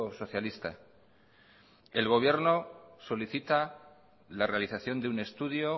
socialista el gobierno solicita la realización de un estudio